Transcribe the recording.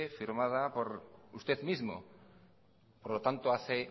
firmada por usted mismo por lo tanto hace